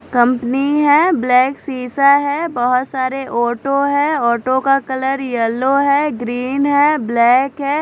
Company है black शीशा है बहोत सारे ऑटो है ऑटो येलो है ग्रीन है ब्लैक है।